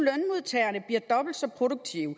jeg dobbelt så produktive